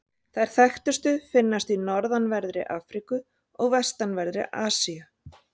Þær þekktustu finnast í norðanverðri Afríku og vestanverðri Asíu.